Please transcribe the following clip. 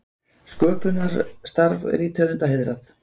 Sköpunarstarf rithöfunda heiðrað